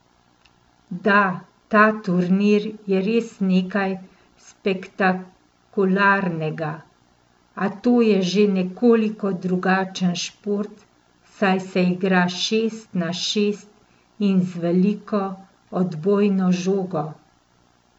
Da, ta turnir je res nekaj spektakularnega, a to je že nekoliko drugačen šport, saj se igra šest na šest in z veliko, odbojno žogo.